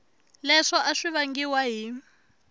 leswo a swi vangiwa hi